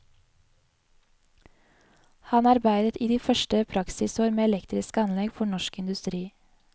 Han arbeidet i de første praksisår med elektriske anlegg for norsk industri.